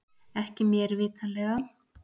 Ekki mér vitanlega